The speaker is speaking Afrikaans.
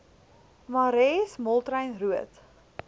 marais moltrein roodt